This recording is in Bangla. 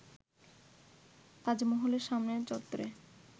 তাজমহলের সামনের চত্বরে